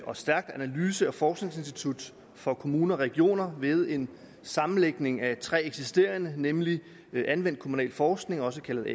og stærkt analyse og forskningsinstitut for kommuner og regioner ved en sammenlægning af tre eksisterende nemlig anvendt kommunalforskning også kaldet